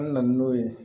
An na na n'o ye